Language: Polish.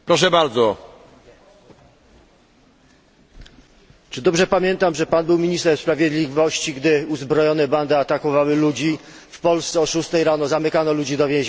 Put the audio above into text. Czy dobrze pamiętam, że Pan był ministrem sprawiedliwości, gdy uzbrojone bandy atakowały ludzi w Polsce, o 6 rano zamykano ludzi w więzieniach, a jedna z pań, którą chcieliście zamknąć popełniła samobójstwo?